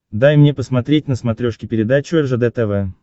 дай мне посмотреть на смотрешке передачу ржд тв